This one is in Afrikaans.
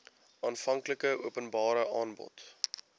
aanvanklike openbare aanbod